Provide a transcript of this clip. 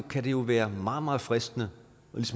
kan det jo være meget meget fristende